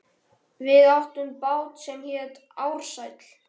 Við áttum bát sem hét Ársæll.